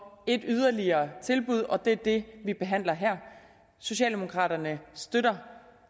et yderligere tilbud og det er det vi behandler her socialdemokraterne støtter